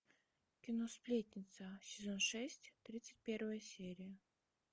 кино сплетница сезон шесть тридцать первая серия